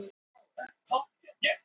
Strákarnir kalla Gerði